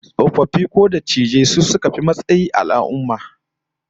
Tsofaffi ko dattijai su suka fi matsayi a al'ummar mu